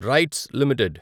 rights limited